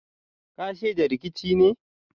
Kai shaida rikicin ne?